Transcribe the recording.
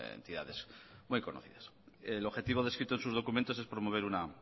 entidades muy conocidas el objetivo descrito en sus documentos es promover una